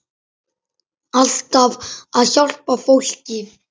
Alltaf að hjálpa fólki.